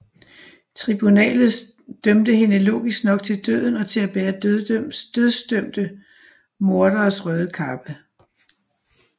Tribunalet dømte hende logisk nok til døden og til at bære dødsdømte morderes røde kappe